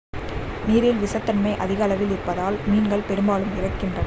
நீரில் விஷத்தன்மை அதிக அளவில் இருப்பதால் மீன்கள் பெரும்பாலும் இறக்கின்றன